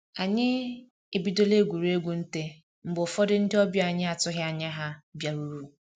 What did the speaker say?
Anyi ebidola egwuruegwu nte mgbe ụfọdụ ndị ọbịa anyị atụghị anya ha bịaruru